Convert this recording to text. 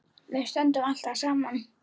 Við stöndum alltaf saman